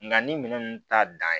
Nga ni minɛn nunnu ta dan ye